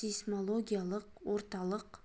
сейсмологиялық орталық